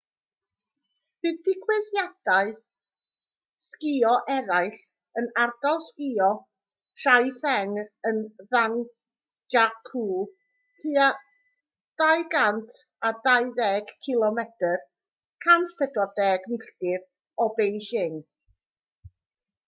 bydd digwyddiadau sgïo eraill yn ardal sgïo taizicheng yn zhangjiakou tua 220 cilomedr 140 milltir o beijing